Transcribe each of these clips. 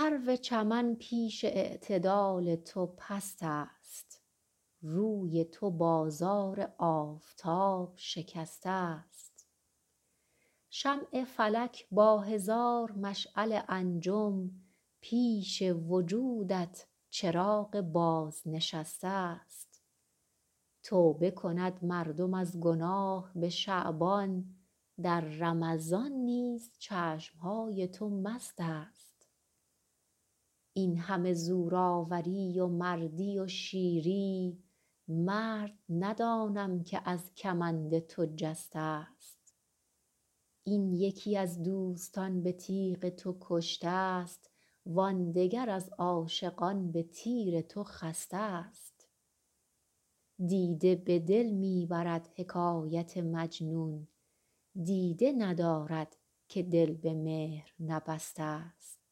سرو چمن پیش اعتدال تو پست است روی تو بازار آفتاب شکسته ست شمع فلک با هزار مشعل انجم پیش وجودت چراغ بازنشسته ست توبه کند مردم از گناه به شعبان در رمضان نیز چشم های تو مست است این همه زورآوری و مردی و شیری مرد ندانم که از کمند تو جسته ست این یکی از دوستان به تیغ تو کشته ست وان دگر از عاشقان به تیر تو خسته ست دیده به دل می برد حکایت مجنون دیده ندارد که دل به مهر نبسته ست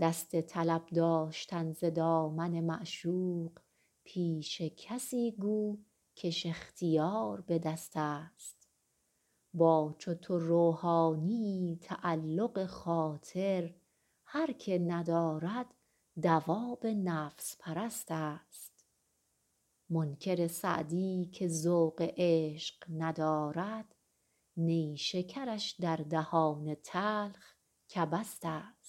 دست طلب داشتن ز دامن معشوق پیش کسی گو کش اختیار به دست است با چو تو روحانیی تعلق خاطر هر که ندارد دواب نفس پرست است منکر سعدی که ذوق عشق ندارد نیشکرش در دهان تلخ کبست است